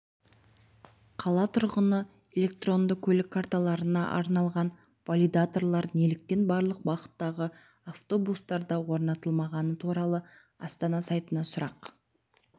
қала тұрғыны электронды көлік карталарына арналған валидаторлар неліктен барлық бағыттағы автобустарда орнатылмағаны туралы астана сайтына сұрақ